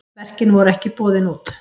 Verkin voru ekki boðin út.